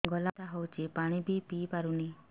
ଗଳା ବଥା ହଉଚି ପାଣି ବି ପିଇ ପାରୁନି